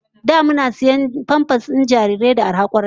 Da muna sayan famfas na tsaftar jarirai da arha kwarai